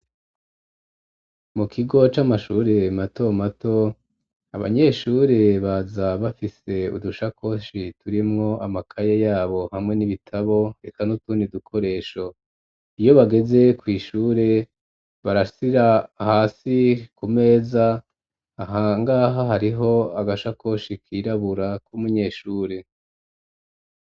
Mu kigo c'amashuri mato mato abanyeshuri baza bafise udushakoshi turimwo amakaya yabo hamwe n'ibitabo reka n'utuni dukoresho iyo bageze kw'ishure barasira hasi ku meza ahangaha hariho agashakoshi kirabura k'umunyeshure.